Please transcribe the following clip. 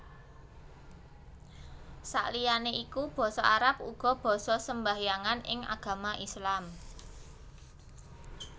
Saliyané iku basa Arab uga basa sembahyangan ing agama Islam